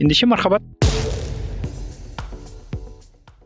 ендеше мархабат